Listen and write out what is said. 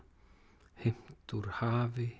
heimt úr hafi